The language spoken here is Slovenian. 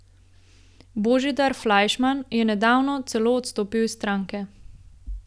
Božidar Flajšman je nedavno celo izstopil iz stranke.